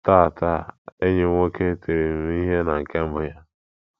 Taa, Taa, enyi m nwoke tiri m ihe na nke mbụ ya.